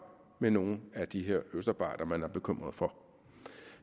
med nogle af de her østarbejdere man er bekymret for